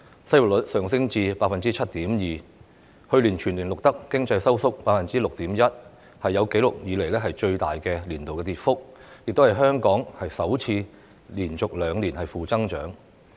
失業率上升至 7.2%， 去年全年更錄得 6.1% 的經濟收縮，是有紀錄以來最大的年度跌幅，亦是香港首次連續兩年負增長。